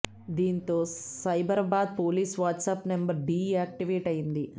దీంతో Cyberabad police WhatsApp number deactivate అయ్యింది